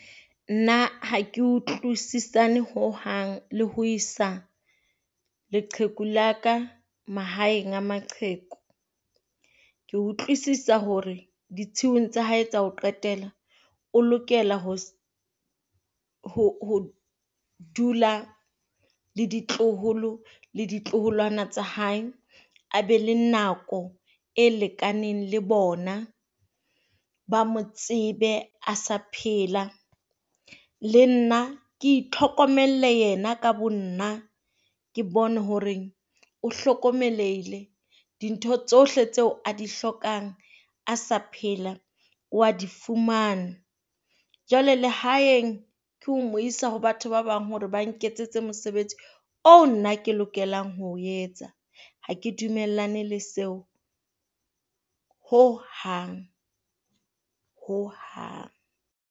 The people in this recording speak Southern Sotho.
Nna hake utlwisisane ho hang le ho isa leqheku la ka mahaeng a maqheku. Ke a utlwisisa hore ditshiung tsa hae tsa ho qetela, o lokela ho ho dula le ditloholo le ditloholwana tsa hae. A be le nako e lekaneng le bona. Ba mo tsebe a sa phela, le nna ke itlhokomelle yena ka bonna. Ke bone hore o hlokomelehile, dintho tsohle tseo a di hlokang a sa phela o a di fumana. Jwale lehaeng ke mo isa ho batho ba bang hore ba nketsetse mosebetsi oo nna ke lokelang ho o etsa. Ha ke dumellane le seo ho hang. Ho hang.